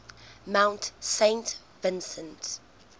mount saint vincent